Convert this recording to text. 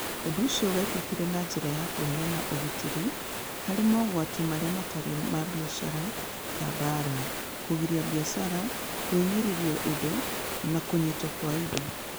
Ũndũ ũcio wekĩkire na njĩra ya kũheana ũgitĩri harĩ mogwati marĩa matarĩ ma biacara ta mbaara, kũgiria biacara, kũhinyĩrĩrio indo, na kũnyiitwo kwa indo.